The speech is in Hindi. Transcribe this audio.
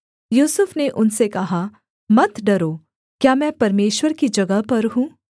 यूसुफ ने उनसे कहा मत डरो क्या मैं परमेश्वर की जगह पर हूँ